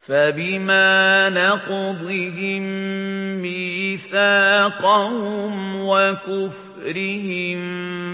فَبِمَا نَقْضِهِم مِّيثَاقَهُمْ وَكُفْرِهِم